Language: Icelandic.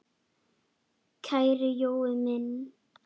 Kæri Jói minn!